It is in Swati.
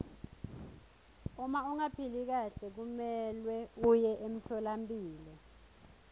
uma ungaphili kahle kumelwe uye emtfolampilo